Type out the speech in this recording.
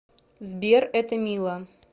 сбер это мило